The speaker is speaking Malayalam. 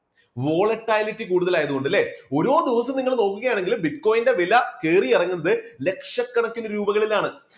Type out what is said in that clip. volatility കൂടുതലായതുകൊണ്ട് അല്ലേ? ഓരോ ദിവസവും നിങ്ങൾ നോക്കുകയാണെങ്കിൽ bitcoin ന്റെ വില കേറി ഇറങ്ങുന്നത് ലക്ഷക്കണക്കിന് രൂപകളിലാണ്.